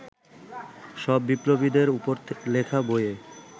সব বিপ্লবীদের ওপর লেখা বইয়ে